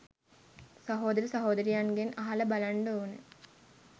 සහෝදර සහෝදරියන්ගෙන් අහලා බලන්ඩ ඕන